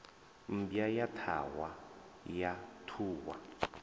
mmbwa ya ṱhahwa ya ṱhuhwa